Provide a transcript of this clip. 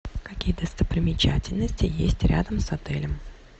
какие достопримечательности есть рядом с отелем